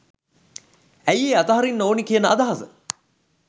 ඇයි ඒ අතහරින්න ඕනි කියන අදහස